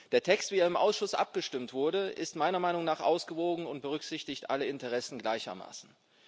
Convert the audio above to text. Der Text, wie er im Ausschuss abgestimmt wurde, ist meiner Meinung nach ausgewogen und berücksichtigt alle Interessen gleichermaßen.